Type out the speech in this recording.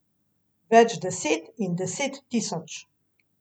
Več deset in deset tisoč.